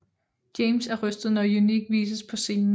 James er rystet når Unique vises på scenen